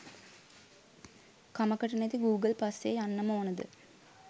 කමකට නැති ගූගල් පස්සෙ යන්නම ඕනද?